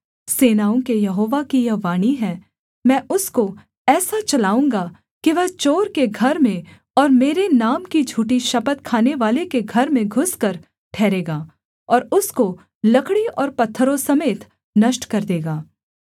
सेनाओं के यहोवा की यही वाणी है मैं उसको ऐसा चलाऊँगा कि वह चोर के घर में और मेरे नाम की झूठी शपथ खानेवाले के घर में घुसकर ठहरेगा और उसको लकड़ी और पत्थरों समेत नष्ट कर देगा